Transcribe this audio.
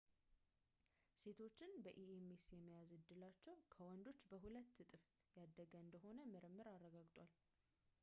ሴቶችን በኤምኤስ የመያዝ ዕድላቸው ከወንዶች በሁለት እጥፍ ያደገ እንደሆነ ምርምር አረጋግጧል